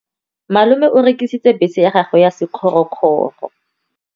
Malome o rekisitse bese ya gagwe ya sekgorokgoro.